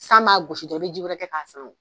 San m'a gosi dɔrɔn i bi ji wɛrɛ kɛ k'a suru